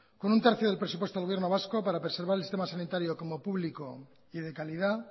con un tercio del presupuesto del gobierno vasco para preservar el sistema sanitario como público y de calidad